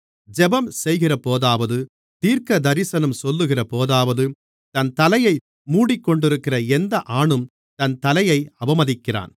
ஜெபம் செய்கிறபோதாவது தீர்க்கதரிசனம் சொல்லுகிறபோதாவது தன் தலையை மூடிக்கொண்டிருக்கிற எந்த ஆணும் தன் தலையை அவமதிக்கிறான்